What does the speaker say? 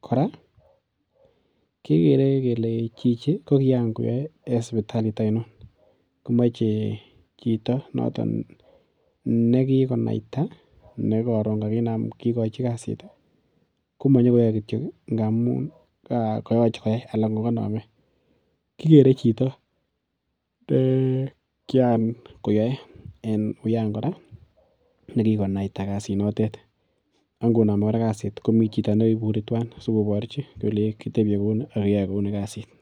kora kegere kele chichi ko kiyan koyae en sipitalit ainon komache chito niton nekikonaita nekarun kakigochi kasit komanyokoyae kityok ngamun koyeche koyai anan ko kaname. Kigere chito nekian koyoe en wiyan kora nekikonaita kasit notet akngonome kasit komi chito ne iburi tuan sigoborchi kolei kitebie kuni ak keyoe kuni kasini.